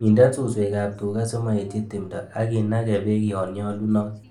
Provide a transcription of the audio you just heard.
Minden suswekab tuga simoetyi timdo ak inage beek yonnyolunot.